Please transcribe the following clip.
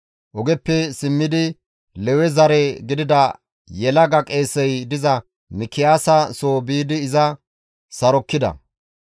Ogeppe simmidi Lewe zare gidida yelaga qeesey diza Mikiyaasa soo biidi iza sarokkida.